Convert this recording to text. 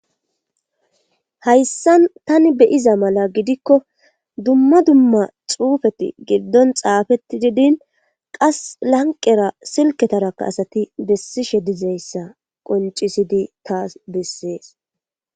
Hayssan tani be'iza mala gidikko dumma dumma xuufeti giddon xaafetidii diin qasi lanqera silketarakka asati besishe dizayssa qoncisidii taas besees